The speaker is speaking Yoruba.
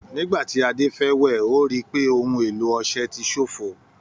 Nígbà tí Ade fẹ́ wẹ̀, ó rí i pé ohun èlò ọṣẹ ti ṣofo.